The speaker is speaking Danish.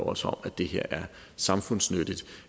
også om at det her er samfundsnyttigt